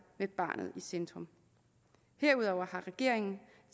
med barnet i centrum herudover har regeringen